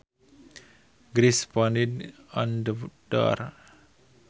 Grace pounded on the door